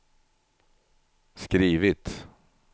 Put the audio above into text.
skrivit